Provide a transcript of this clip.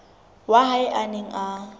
wa hae a neng a